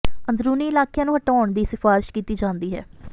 ਅੰਦਰੂਨੀ ਇਲਾਕਿਆਂ ਨੂੰ ਹਟਾਉਣ ਦੀ ਸਿਫਾਰਸ਼ ਕੀਤੀ ਜਾਂਦੀ ਹੈ